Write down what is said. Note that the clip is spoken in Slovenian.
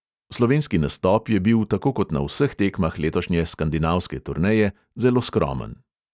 Slovenski nastop je bil, tako kot na vseh tekmah letošnje skandinavske turneje, zelo skromen.